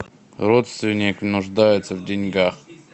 родственник нуждается в деньгах